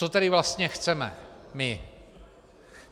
Co tedy vlastně chceme my?